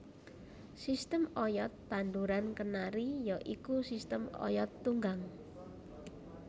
Sistem oyod tanduran kenari ya iku sistem oyod tunggang